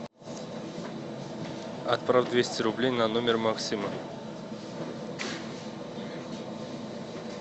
отправь двести рублей на номер максима